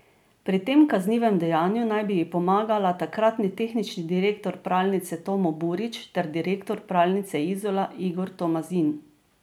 Pri tem kaznivem dejanju naj bi ji pomagala takratni tehnični direktor pralnice Tomo Burić ter direktor Pralnice Izola Igor Tomazin.